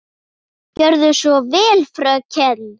Gerðu svo vel, fröken!